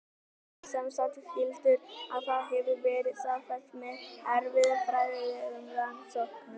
Þeir eru semsagt skyldir og það hefur verið staðfest með erfðafræðilegum rannsóknum.